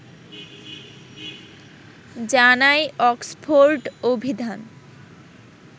জানায় অক্সফোর্ড অভিধান